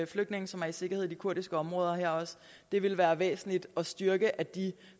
flygtninge som er i sikkerhed i de kurdiske områder det ville være væsentligt at styrke at de